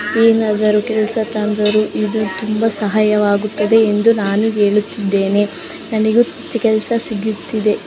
ಏನಾದರೂ ಕೆಲಸ ತಂದರು ಇದು ತುಂಬಾ ಸಹಾಯ ವಾಗುತ್ತದೆ ಎಂದು ನಾನು ಹೇಳುತ್ತಿದ್ದೇನೆ ನನಗೆ ಕೆಲಸ ಸಿಗುತ್ತದೆ.